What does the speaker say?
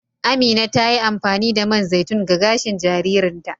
Amina ta yi amfani da man zaitun ga gashin jaririn ta.